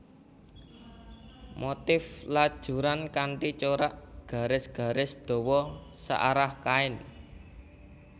Motif lajuran kanthi corak garis garis dawa searah kain